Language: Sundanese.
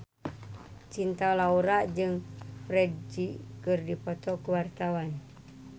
Cinta Laura jeung Ferdge keur dipoto ku wartawan